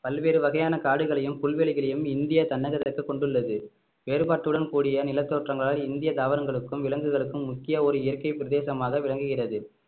பல்வேறு வகையான காடுகளையும் புல்வெளிகளையும் இந்திய தன்னகத்திற்கு கொண்டுள்ளது வேறுபாட்டுடன் கூடிய நிலத்தோற்றங்களால் இந்திய தாவரங்களுக்கும் விலங்குகளுக்கும் முக்கிய ஒரு இயற்கை பிரதேசமாக விளங்குகிறது